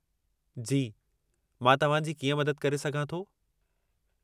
जी, मां तव्हांजी कीअं मदद करे सघां थो?